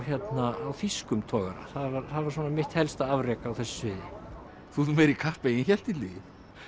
þýskum togara það var svona mitt helsta afrek á þessu sviði þú ert nú meiri kappi en ég hélt Illugi